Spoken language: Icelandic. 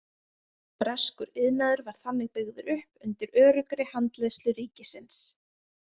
Breskur iðnaður var þannig byggður upp undir öruggri handleiðslu ríkisins.